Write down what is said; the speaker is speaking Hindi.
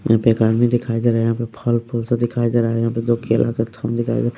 यहाँ पे एक आदमी दिखाई दे रहा है यहाँ पे फल-फूल सा दिखाई दे रहा है यहाँ पे दो केला का थम दिखाई दे रहा --